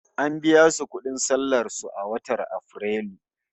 An biya su kudin sallamar su aiki a watan Afrilu